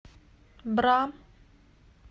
бра